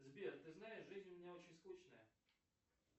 сбер ты знаешь жизнь у меня очень скучная